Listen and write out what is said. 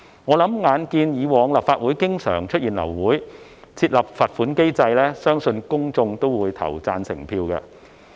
眼見立法會過往經常流會，相信公眾會對設立罰款機制投贊成票。